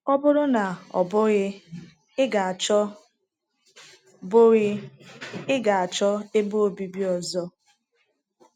Ọ bụrụ na ọ bụghị, ị ga-achọ bụghị, ị ga-achọ ebe obibi ọzọ.